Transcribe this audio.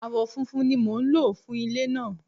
Awọ funfun ni mo nlo fun ile naa